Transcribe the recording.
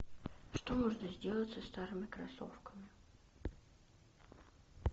что можно сделать со старыми кроссовками